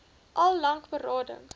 al lank berading